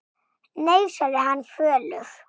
Nei, sagði hann fölur.